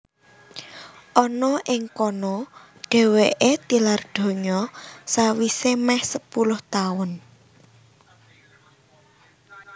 Ana ing kana dhèwèké tilar donya sawisé mèh sepuluh taun